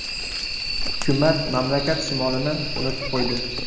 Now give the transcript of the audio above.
Hukumat mamlakat shimolini unutib qo‘ydi.